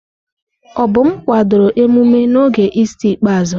Obum kwadoro emume n'oge Ista ikpeazụ.